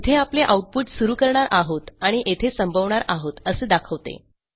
येथे आपले आऊटपुट सुरू करणार आहोत आणि येथे संपवणार आहोत असे दाखवते